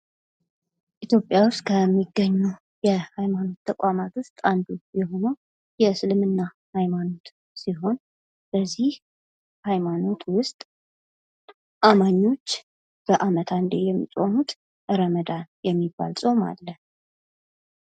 ኢትዮጵያ ውስጥ ከሚገኙ የሃይማኖት ተቋማት ዉስጥ አንዱ የሆነው የእስልምና ሃይማኖት ሲሆን በዚህ ሀይማኖት ውስጥ አማኞች በዓመት አንዴ የሚፆሙት ረመዳን የሚባል ጾም አለ።